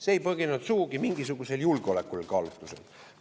See ei põhinenud sugugi mingisugusel julgeolekukaalutlusel.